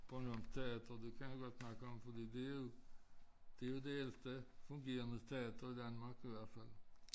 Bornholms teater du kender godt denne her gang fordi det jo det jo det ældste fungerende teater i Danmark i hvert fald